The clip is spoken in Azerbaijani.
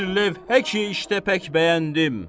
Bir lövhə ki, işte pək bəyəndim.